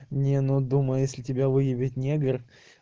не ну думаю если тебя выебит негр